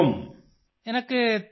आपको कौन सी पुस्तक बहुत पसन्द है